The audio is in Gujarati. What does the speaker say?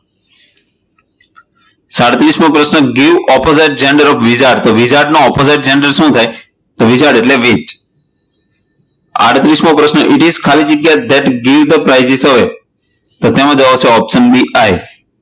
સડત્રીસમો પ્રશ્ન give opposite gender of wizard તો wizard નો opposite gender શું થાય, તો wizard એટલે કે વાઇઝ આડત્રિસ્મો પ્રશ્ન it is ખાલી જગ્યા that give the એમાં જવાબ આવશે option b